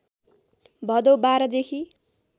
भदौ १२ देखि